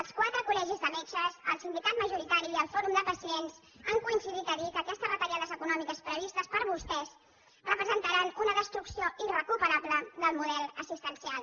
els quatre col·legis de metges el sindicat majoritari i el fòrum de pacients han coincidit a dir que aquestes retallades econòmiques previstes per vostès representaran una destrucció irrecuperable del model assistencial